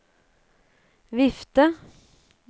vifte